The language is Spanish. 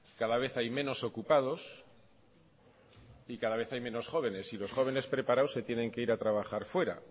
cada vez hay menos ocupados y cada vez hay menos jóvenes y los jóvenes preparados se tienen que ir a trabajar fuera